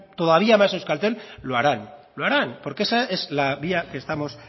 todavía más euskaltel lo harán lo harán porque esa es la vía que estamos